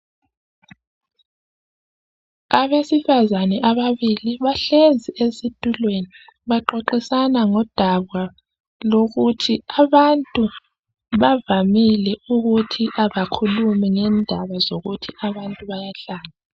Abesifazane ababili bahlezi esitulweni, baxoxisana ngodaba lokuthi abantu bavamile ukuthi abakhulumi ngendaba zokuthi abantu bayahlanya.